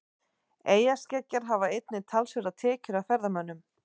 Eyjaskeggjar hafa einnig talsverðar tekjur af ferðamönnum.